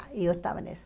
E eu estava nisso.